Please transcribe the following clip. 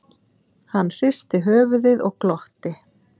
Hann hristi höfuðið og glotti.